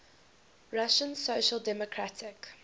russian social democratic